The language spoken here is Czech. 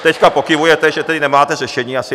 Teď pokyvujete, že tedy nemáte řešení asi.